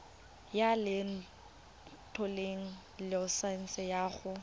ya lekwalotetla laesense ya go